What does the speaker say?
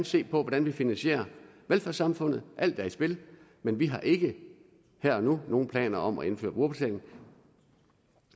se på hvordan vi finansierer velfærdssamfundet alt er i spil men vi har ikke her og nu nogen planer om at indføre brugerbetaling